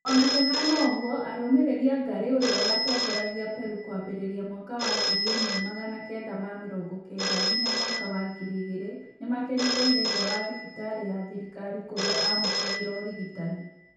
Ona kũhana ũgũo arũmĩrĩrĩi a Ngari ũrĩa watongoragia Perũ kwambĩrĩria mwaka wa ngiri ĩmwe magana kenda ma mĩrongo kenda nginya mwaka wa ngiri igĩrĩ , nĩmakenereĩre nja wa thĩbĩtarĩ ya thirikari kũrĩa amũkagĩra ũrigitani